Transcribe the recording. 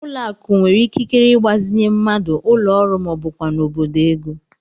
Ụlọakụ nwere ikikere ịgbazinye mmadụ, ụlọọrụ maọbụkwanụ obodo ego